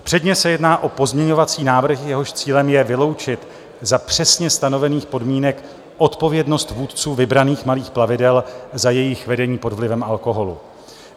Předně se jedná o pozměňovací návrh, jehož cílem je vyloučit za přesně stanovených podmínek odpovědnost vůdců vybraných malých plavidel za jejich vedení pod vlivem alkoholu.